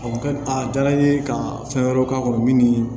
a diyara n ye ka fɛn wɛrɛw k'a kɔnɔ min